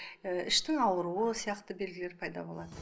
ііі іштің ауруы сияқты белгілері пайда болады